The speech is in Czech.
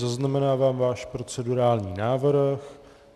Zaznamenávám váš procedurální návrh.